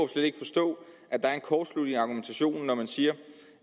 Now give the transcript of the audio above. slet ikke forstå at der er en kortslutning i argumentationen når man siger